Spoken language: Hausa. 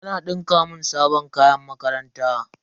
Ana dinka mun sabon kayan makaranta.